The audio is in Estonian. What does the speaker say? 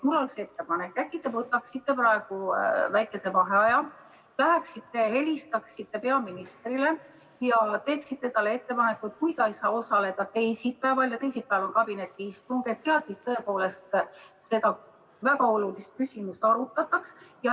Mul on üks ettepanek: äkki te võtate praegu väikese vaheaja ja läheksite helistaksite peaministrile ja teeksite talle ettepaneku, et kui ta teisipäeval ei saa osaleda, sest teisipäeval on kabinetiistung, siis seal seda tõepoolest väga olulist küsimust arutataks.